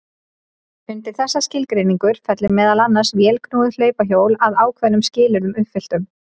Undir þessa skilgreiningu fellur meðal annars vélknúið hlaupahjól að ákveðnum skilyrðum uppfylltum.